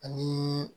Ani